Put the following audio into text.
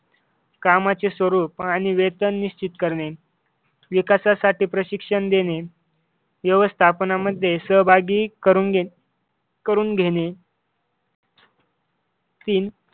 कामाचे स्वरूप आणि वेतन निश्चित करणे. विकासासाठी प्रशिक्षण देणे. व्यवस्थापनामध्ये सहभागी करून करून घे करून घेणे तीन